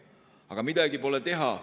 Aga midagi pole teha.